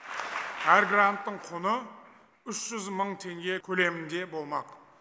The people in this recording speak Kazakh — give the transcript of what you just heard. әр гранттың құны үш жүз мың теңге көлемінде болмақ